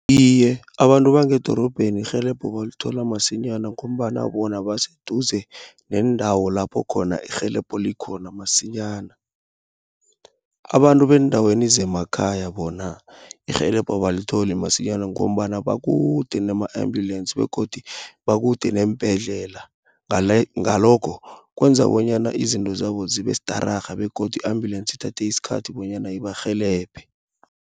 Iye abantu bangedorobheni, irhelebho balithola masinyana, ngombana bona baseduze, neendawo lapho khona irhelebho likhona masinyana. Abantu beendaweni zemakhaya bona, irhelebho abalitholi masinyana, ngombana bakude nama-embulensi, begodu bakude neembhedlela. Ngalokho kwenza bonyana izinto zabo zibestararha, begodu i-ambulensi ithathe iskhathi bonyana ibarhelebhe.